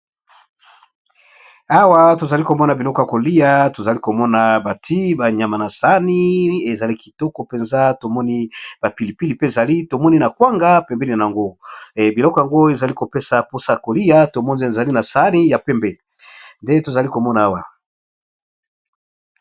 awa tozali komona biloko ya kolia tozali komona bati banyama na sani ezali kitoko mpenza tomoni bapilipili pe ezali tomoni na kwanga pembeni na yango biloko yango ezali kopesa mposa a kolia tomonzi ezali na sani ya pembe nde tozali komona awa